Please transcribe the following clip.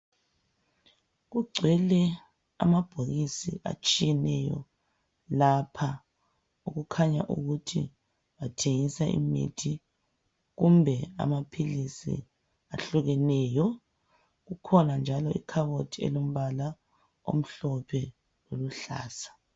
Kugcwele amabhokisi atshiyeneyo lapha. Kukhanya ukuthi bathengiswa imithi kumbe amaphilisi ehlukeneyo. Kukhona njalo ikhabothi elombala omhlophe, loluhlaza.